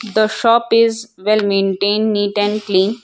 The shop is well maintain neat and clean.